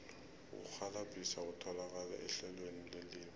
ukurhwalabhisa kutholakala ehlelweni lelimi